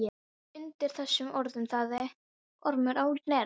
Undir þessum orðum þagði Ormur á Knerri.